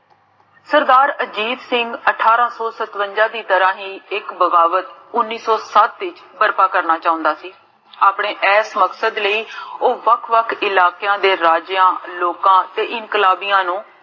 ਸਰਦਾਰ ਅਜੀਤ ਸਿੰਘ ਅਠਾਰਾ ਸੋ ਸਤਵੰਜਾ ਦੀ ਤਰਹ ਹੀ ਇਕ ਬਗਾਵਤ ਉਨ੍ਨੀ ਸੋ ਸਤ ਦੀ ਤਰਹ ਕਰਨਾ ਚਾਹੁੰਦਾ ਸੀ ਆਪਣੇ ਏਸ ਮਕਸਦ ਲਾਇ ਉਹ ਵੱਖ ਵੱਖ ਇਲਾਕਿਆਂ ਦੇ ਰਹੀ ਜਿਹਾ ਲੋਕ ਤੇ ਨੂੰ